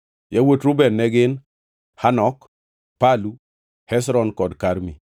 Yawuot Reuben ne gin: Hanok, Palu, Hezron kod Karmi.